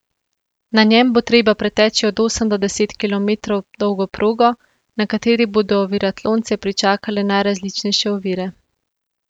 Na njem bo treba preteči od osem do deset kilometrov dolgo progo, na kateri bodo oviratlonce pričakale najrazličnejše ovire.